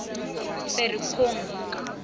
ferikgong